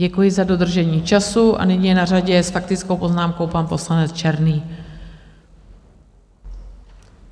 Děkuji za dodržení času a nyní je na řadě s faktickou poznámkou pan poslanec Černý.